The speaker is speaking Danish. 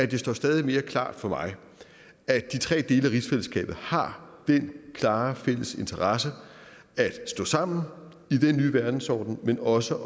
det står stadig mere klart for mig at de tre dele af rigsfællesskabet har den klare fælles interesse at stå sammen i den nye verdensorden men også